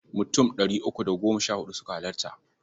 Mutum ɗari uku da goma sha huɗu suka halarta.